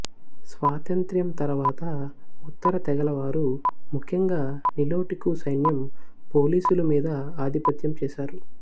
స్వాతంత్ర్యం తరువాత ఉత్తర తెగలవారు ముఖ్యంగా నిలోటికు సైన్యం పోలీసులు మీద ఆధిపత్యం చేసారు